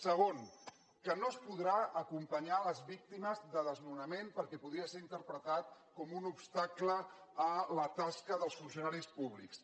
segona que no es podran acompanyar les víctimes de desnonament perquè podria ser interpretat com un obstacle a la tasca dels funcionaris públics